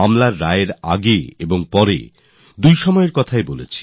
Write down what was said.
রায় আসার আগেও আর রায় আসার পরেও